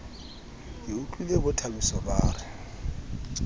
ke utlwile bothabiso ba re